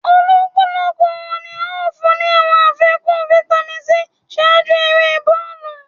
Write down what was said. Olúkúlùkù wọ́n ní à o fún ni awọn àfikún Vitamin c ṣáájú èrè bọọlu